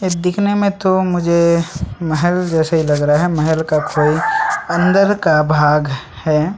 ये दिखने में तो मुझे महल जैसे ही लग रहा है महल का कोई अंदर का भाग है।